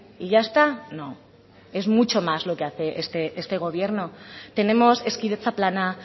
y ya está no es mucho más lo que hace este gobierno tenemos hezkidetza plana